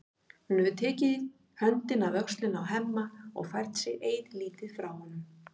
Hún hefur tekið höndina af öxlinni á Hemma og fært sig eilítið frá honum.